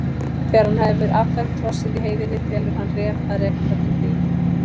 Þegar hann hefur affermt hrossið í heiðinni felur hann Ref að reka það til byggða.